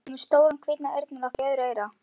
Hún er með stóran hvítan eyrnalokk í öðru eyra.